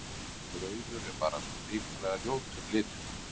Rauður er bara svo hrikalega ljótur litur.